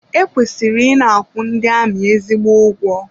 E kwesịrị ị na-akwụ ndị amị ezigbo ego.